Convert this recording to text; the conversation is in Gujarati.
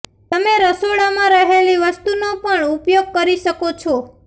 તમે રસોડામાં રહેલી વસ્તુંનો પણ ઉપયોગ કરી શકો છો